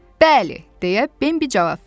Bəli, deyə Bambi cavab verdi.